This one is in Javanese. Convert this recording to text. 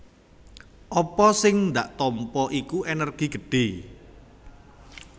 Apa sing dak tampa iku ènèrgi gedhé